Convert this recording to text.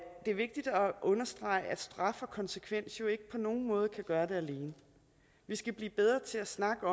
er vigtigt at understrege at straf og konsekvens jo ikke på nogen måde kan gøre det alene vi skal blive bedre til at snakke